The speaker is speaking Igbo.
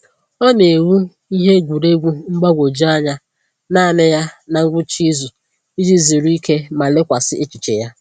Ọ na-ewu ihe egwuruegwu mgbagwoju anya naanị ya na ngwụcha izu iji zuru ike ma lekwasị echiche ya.